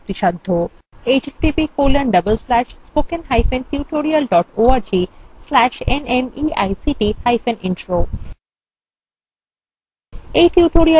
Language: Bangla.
এই বিষয়ে বিস্তারিত তথ্য এই link প্রাপ্তিসাধ্য